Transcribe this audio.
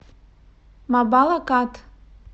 мабалакат